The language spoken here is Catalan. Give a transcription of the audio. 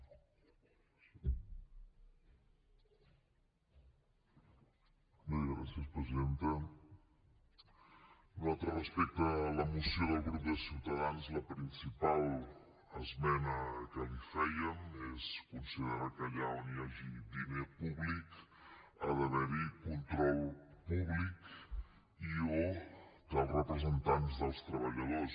nosaltres respecte a la moció del grup de ciutadans la principal esmena que hi fèiem és considerar que allà on hi hagi diner públic ha d’haver hi control públic i o dels representants dels treballadors